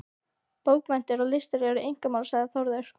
Bókmenntir og listir eru einkamál, sagði Þórður.